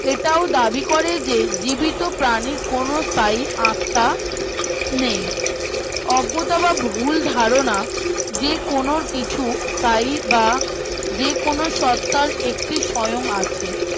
এটাও দাবি করে যে জীবিত প্রাণীর কোনো স্থায়ী আস্থা নেই অজ্ঞতা বা ভুল ধারণা যে কোনো কিছু স্থায়ী বা যে কোনো সত্তার একটি স্বয়ং আছে